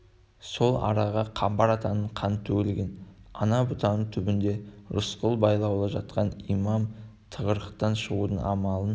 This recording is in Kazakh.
сол араға қамбар атаның қаны төгілген ана бұтаның түбінде рысқұл байлаулы жатқан имам тығырықтан шығудың амалын